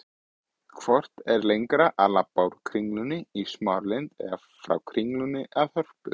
Hvort er lengra að labba úr Kringlunni í Smáralind eða frá Kringlunni að Hörpu?